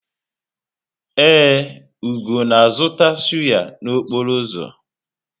Ee, Ugo na-azụta sụ́yá n'okporo ụzọ?